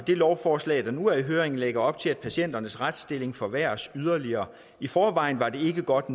lovforslag der nu er i høring lægger op til at patienternes retsstilling forværres yderligere i forvejen var det ikke godt